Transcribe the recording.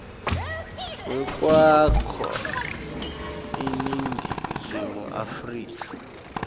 wekwakha iningizimu afrika